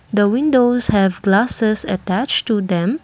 the windows have glasses attached to them.